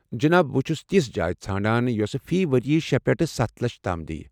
جناب، بہٕ چُھس تِژھ جایہ ژھانڈان یۄسہٕ فی ؤرۍیہٕ شے پٮ۪ٹھ سَتھ لچھ تام دِیہِ۔